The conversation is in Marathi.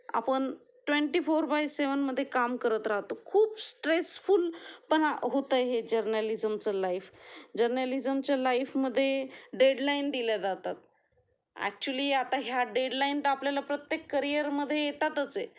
आपण ट्वेंटी फोर बाय सेव्हन मध्ये काम करत राहतो, खूप स्ट्रेसफुल पण होत आहे जर्नलिज्मचं लाइफ, जर्नलिज्म च्या लाईफ मध्ये डेडलाइन दिल्या जातात, एक्चूअली आता ह्या डेडलाइन तर आपल्याला प्रत्येक करियर मध्ये येतातच आहेत.